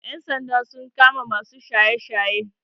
Ƴan sanda sun kama masu shaye shaye